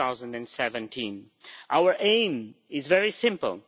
2017. Our aim is very simple.